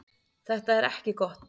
Þetta er ekki gott.